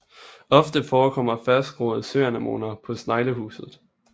Ofte forekommer fastgroede søanemoner på sneglehuset